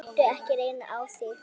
Láttu ekki reyna á það.